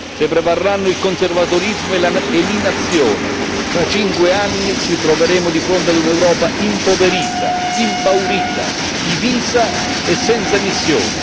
Se prevarranno il conservatorismo e l'inazione, fra cinque anni ci troveremo di fronte ad un'Europa impoverita, impaurita, divisa e senza missione.